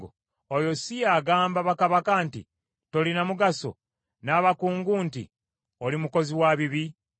Oyo si ye agamba bakabaka nti, ‘Tolina mugaso,’ n’abakungu nti, ‘Oli mukozi wa bibi,’